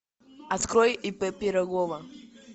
открой и п пирогова